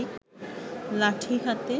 লাঠি হাতে